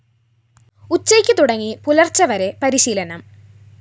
ഉച്ചയ്ക്ക് തുടങ്ങി പുലര്‍ച്ചവരെ പരിശീലനം